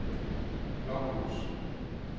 Blokhus